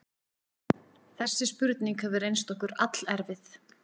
Þessi spurning hefur reynst okkur allerfið.